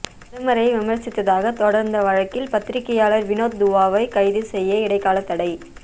பிரதமரை விமர்சித்ததாக தொடர்ந்த வழக்கில் பத்திரிக்கையாளர் வினோத் துவாவை கைது செய்ய இடைக்கால தடை